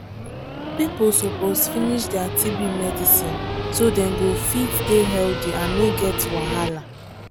people suppose finish their tb medicine so dem go fit dey healthy and no get wahala.